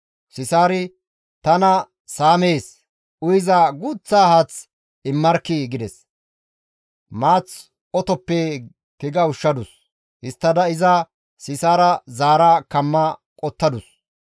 Sisaari, «Tana saamees; uyiza guuththa haath immarkkii!» gides; maath otoppe tiga ushshadus; histtada Sisaara iza zaara kamma qottadus.